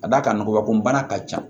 Ka d'a kan nkɔbanko bana ka ca